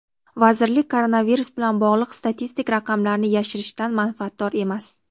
vazirlik koronavirus bilan bog‘liq statistik raqamlarni yashirishdan manfaatdor emas.